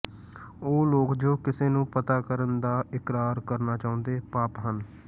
ਉਹ ਲੋਕ ਜੋ ਕਿਸ ਨੂੰ ਪਤਾ ਕਰਨ ਦਾ ਇਕਰਾਰ ਕਰਨਾ ਚਾਹੁੰਦੇ ਪਾਪ ਹਨ